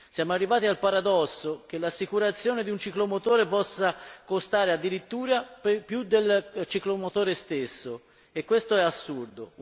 Siamo arrivati al paradosso che l'assicurazione di un ciclomotore possa costare addirittura più del ciclomotore stesso e questo è assurdo!